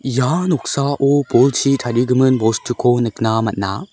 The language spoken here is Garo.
ia noksao bolchi tarigimin bostuko nikna man·a.